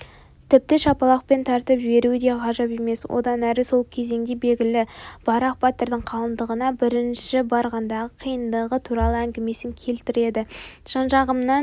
тіпті шапалақпен тартып жіберуі де ғажап емес онан әрі сол кезеңде белгілі барақ батырдың қалыңдығына бірінші барғандағы қиналғандығы туралы әңгімесін келтіреді жанжағымнан